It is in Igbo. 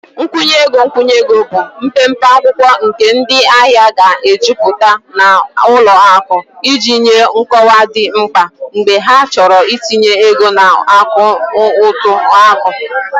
Nkwụnye ego nkwụnye ego bụ mpempe akwụkwọ nke ndị ahịa ga-ejupụta na ụlọ akụ iji nye nkọwa dị mkpa mgbe ha chọrọ itinye ego na akaụntụ akụ